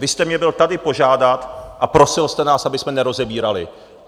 Vy jste mě byl tady požádat a prosil jste nás, abychom nerozebírali.